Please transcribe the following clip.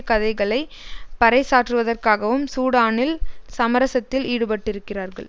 கதைகளை பறைசாற்றுவதற்காகவும் சூடானில் சமரசத்தில் ஈடுபட்டிருக்கிறார்கள்